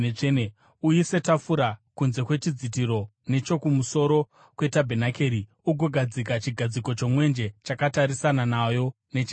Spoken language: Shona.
Uise tafura kunze kwechidzitiro nechokumusoro kwetabhenakeri ugogadzika chigadziko chomwenje chakatarisana nayo nechezasi.